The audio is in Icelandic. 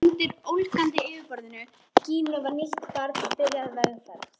Og undir ólgandi yfirborði Gínu var nýtt barn byrjað vegferð.